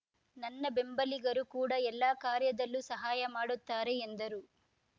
ನನ್ನ ಬೆಂಬಲಿಗರು ಕೂಡ ಎಲ್ಲಾ ಕಾರ್ಯದಲ್ಲೂ ಸಹಾಯ ಮಾಡುತ್ತಾರೆ ಎಂದರು